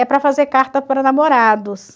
É para fazer carta para namorados.